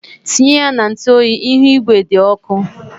Tinye na ntụ oyi, ihu igwe dị ọkụ.